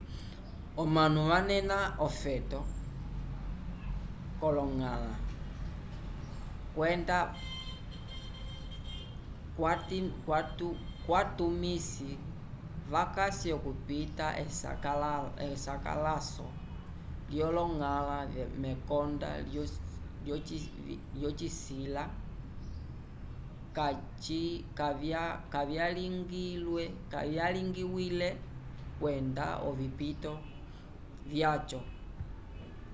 omanu vanena ofeto k'oloñgala kwenda kwatumisi vakasi okupita esakalaso lyoloñgala mekonda lyovisila kavyalingiwile kwenda ovipito vyaco